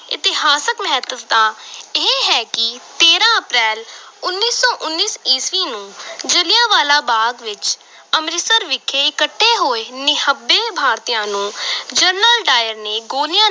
ਇਤਿਹਾਸਕ ਮਹੱਤਤਾ ਇਹ ਹੈ ਕਿ ਤੇਰਾਂ ਅਪ੍ਰੈਲ, ਉੱਨੀ ਸੌ ਉੱਨੀ ਈਸਵੀ ਨੂੰ ਜਲਿਆਂਵਾਲਾ ਬਾਗ਼ ਵਿੱਚ ਅੰਮ੍ਰਿਤਸਰ ਵਿਖੇ ਇਕੱਠੇ ਹੋਏ ਨਿਹੱਬੇ ਭਾਰਤੀਆਂ ਨੂੰ ਜਨਰਲ ਡਾਇਰ ਨੇ ਗੋਲੀਆਂ